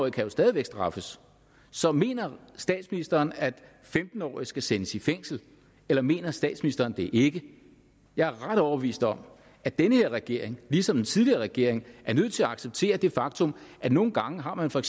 kan jo stadig væk straffes så mener statsministeren at femten årige skal sendes i fængsel eller mener statsministeren det ikke jeg er ret overbevist om at den her regering ligesom den tidligere regering er nødt til at acceptere det faktum at nogle gange har man for